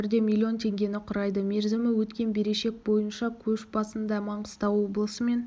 жоғары бұл өңірде миллион теңгені құрайды мерзімі өткен берешек бойынша көш басында маңғыстау облысы мен